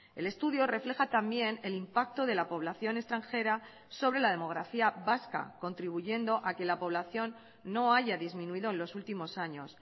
el estudio refleja también el impacto de la población extranjera sobre la demografía vasca contribuyendo a que la población no haya disminuido en los últimos años